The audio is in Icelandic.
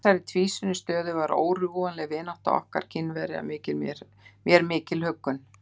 Í þessari tvísýnu stöðu var órjúfanleg vinátta okkar við Kínverja mér mikil huggun.